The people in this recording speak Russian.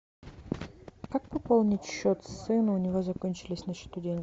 как пополнить счет сыну у него закончились на счету деньги